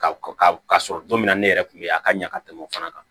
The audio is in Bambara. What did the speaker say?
Ka ka sɔrɔ don min na ne yɛrɛ kun bɛ ye a ka ɲa ka tɛmɛ o fana kan